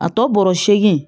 A tɔ bɔrɔ seegin